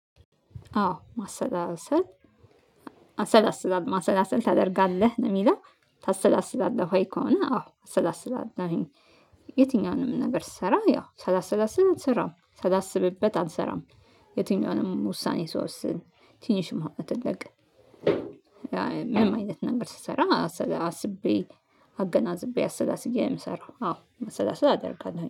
አዎ ማሰላሰል ማሰላሰል ማሰላሰል ታደርጋለህ ነው የሚለው ታሰላስላለህ ወይ ከሆነ አዎ አሰላሰላለሁኝ። የትኛውንም ነገር ስሰራ ያው ሳላሰላስል አልሰራም ሳላስብበት አንሰራም የትኛውንም ውሳኔ ስወስን ትንሽም ሆነ ትልቅ ምንም አይነት ነገር ስሰራ አስቤ አገናዝቤ አሰላስቤ የምሰራው አዎ ማሰላሰልአደርጋለሁኝ።